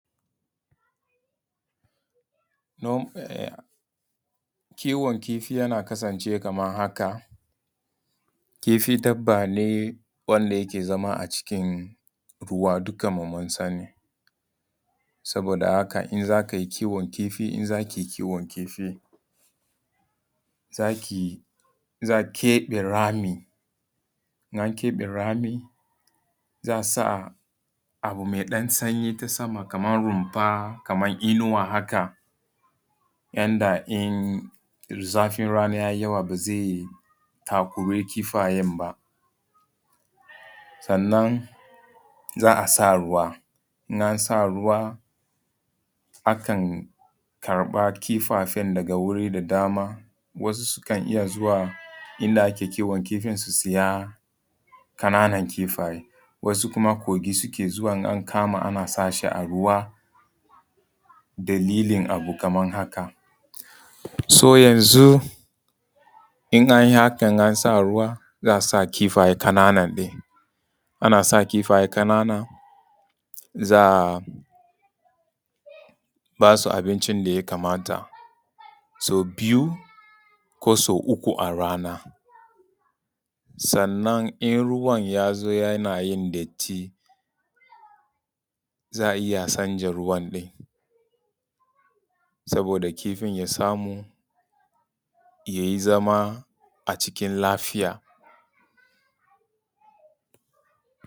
Kiwon kifi yana kasance kamar haka. Kifi dabba ne wanda yake zama a cikin ruwa dukan mu mun sani, saboda haka in za ka yi kiwon kifi, in za ki yi kiwon kifi, za ki keɓe rami, in an kaɓe rami za a sa abu mai ɗan sanyi ta sama kamar runfa kaman inuwa haka yanda in zafin rana yayi yawa ba zai takuri kifayan ba. Sannan za a sa ruwa, in an sa ruwa akan karɓa kifayen daga wurin da dama, wasu sukan iya zuwa inda ake kiwon kifin su siya ƙananan kifayen, wasu kuma kogi suke zuwa in an kama ana sa shi a ruwa dalilin abu kamar haka. yanzu in an yi hakan an sa ruwa za a sa kifaye ƙananan ne. Ana sa kifaye ƙanana za a ba su abincin da ya kamata sau biyu ko sau uku a rana. Sannan in ruwan ya zo yana yin datti, za a iya canza ruwan saboda kifin ya samu yayi zama lafiya.